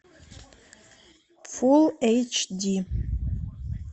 фулл эйч ди